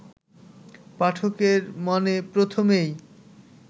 পাঠকের মনে প্রথমেই